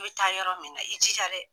I bɛ taa yɔrɔ min na i jija dɛ.